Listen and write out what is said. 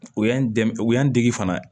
O y'an dɛmɛ o y'an dege fana ye